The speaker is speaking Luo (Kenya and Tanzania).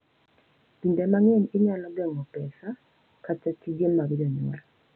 Kinde mang’eny inyalo geng’o pesa, kata tije mag jonyuol .